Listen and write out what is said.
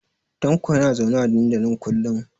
Tanko yana zaune a dandalin kullun.